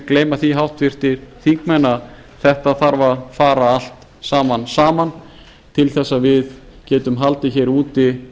gleyma því háttvirtir þingmenn að þetta þarf að fara allt saman saman til þess að við getum haldið hér úti